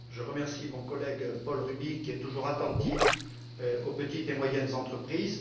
Je remercie mon collègue Paul Rübig, qui est toujours attentif aux petites et moyennes entreprises.